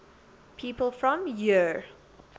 people from eure